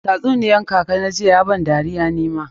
Tatsuniyar kaka na jiya ya ban dariya ni ma.